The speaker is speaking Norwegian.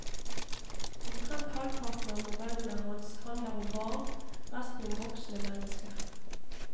Omtrent halvparten av novellene hans handler om barn, resten om voksne mennesker.